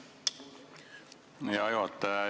Hea juhataja!